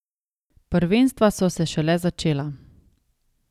Prvenstva so se šele začela.